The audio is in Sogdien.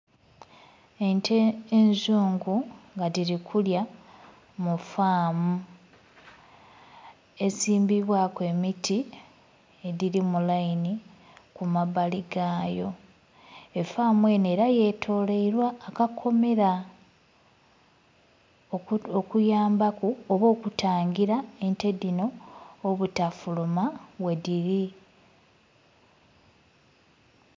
Ente enzungu nga dhili kulya mu faamu esimbibwaku emiti edhili mu lainhi kumabali gaayo, efaamu enho era lyetolweilwa akakomera okuyambaku oba okutangila ente dhino obutafuluma ghedhili.